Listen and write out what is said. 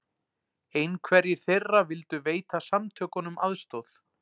Einhverjir þeirra vildu veita samtökunum aðstoð